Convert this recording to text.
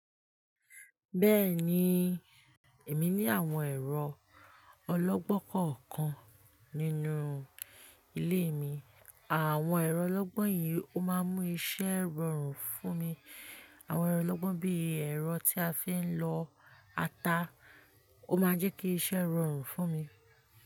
Bẹ́ẹ̀ni, èmi ní àwọn ẹ̀rọ ọlọ́gbọ́n kọ̀ọ̀kan nínú ilé mi. Àwọn ẹ̀rọ ọlọ́gbọ́n yìí ó máa ń mú iṣẹ́ rọrùn fún mi. Àwọn ẹ̀rọ ọlọ́gbọ́n bí ẹ̀rọ tí a fi ń lọ ata, ó máa ń jẹ́ kí iṣẹ́ rọrùn fún mi.